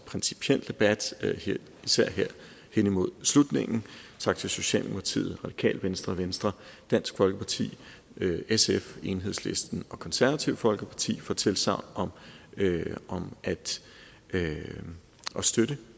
principiel debat især her hen imod slutningen tak til socialdemokratiet radikale venstre venstre dansk folkeparti sf enhedslisten og det konservative folkeparti for tilsagn om at støtte